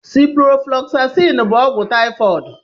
Ciproflọgzasin bụ ogwụ taịfọd.